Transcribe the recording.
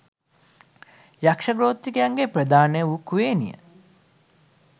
යක්‍ෂ ගෝත්‍රිකයින්ගේ ප්‍රධාන වු කුවේණිය